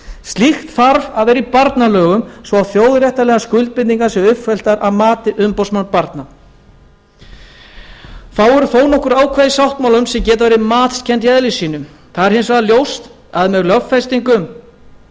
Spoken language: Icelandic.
slíkt þarf að vera í barnalögum svo að þjóðréttarlegar skuldbindingar séu uppfylltar að mati umboðsmanns barna það eru þó nokkur ákvæði í sáttmálanum sem geta verið matskennd í eðli sínu það er hins vegar ljóst að með lögfestingu þessara